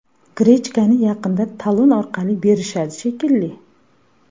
Grechkani yaqinda talon orqali berishadi shekilli.